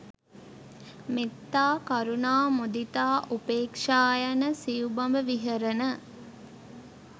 මෙත්තා, කරුණා, මුදිතා, උපේක්‍ෂා යන සිව්බඹ විහරණ